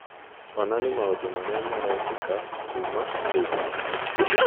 onania maũndũ marĩa marekĩka kuuma k. b. c.